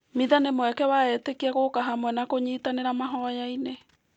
Mĩtha nĩ mweke wa etĩkia gũka hamwe na kũnyitanĩra mahoya-inĩ.